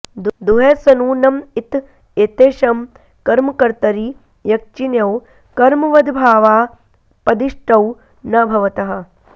दुह सनु नम् इत् येतेषं कर्मकर्तरि यक्चिणौ कर्मवद्भावापदिष्टौ न भवतः